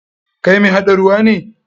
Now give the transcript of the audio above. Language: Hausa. Kai mai haɗa ruwa ne?